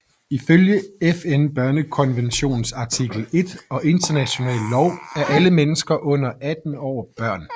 Ifølge FN børnekonventions artikel 1 og international lov er alle mennesker under 18 år børn